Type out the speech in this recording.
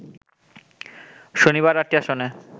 শনিবার ৮টি আসনে